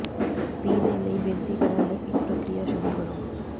ਪੀ ਦੇ ਲਈ ਬੇਨਤੀ ਕਰਨ ਲਈ ਇੱਕ ਪ੍ਰਕਿਰਿਆ ਸ਼ੁਰੂ ਕਰੋ